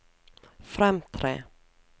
fremtre